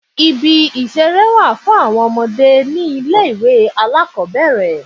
Ibi ìṣeré wà fún àwọn ọmọdé ni ilé ìwé alákòbẹ̀rẹ̀.